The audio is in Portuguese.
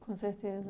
Com certeza.